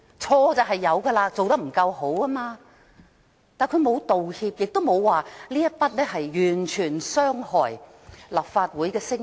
他的確有錯，做得不夠好，但他沒有道歉，亦沒有說這完全傷害立法會的聲譽。